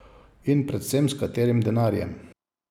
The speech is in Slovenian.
In predvsem, s katerim denarjem?